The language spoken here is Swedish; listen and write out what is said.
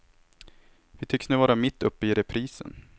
Vi tycks nu vara mitt uppe i reprisen.